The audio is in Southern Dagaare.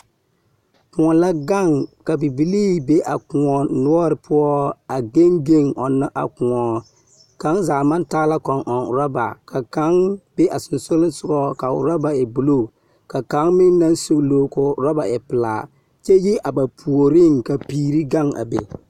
Kõɔ la gaŋ ka bibilii be a kõɔ noɔr poɔ a geŋ geŋ ɔnnɔ a kõɔ. Kaŋ zaa maŋ taa la Kɔŋ-ɛŋ orɔba ka kaŋ be a sonsogleŋsogɔ ka o orɔba e buluu ka kaŋ meŋ naŋ sugluu ka o orɔba e pelaa, kyɛ yi a ba puoriŋ ka piiri gaŋ a be.